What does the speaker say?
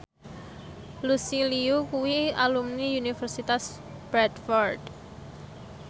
Lucy Liu kuwi alumni Universitas Bradford